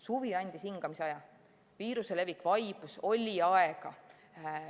Suvi andis hingamisaja, viiruse levik vaibus, oli aega.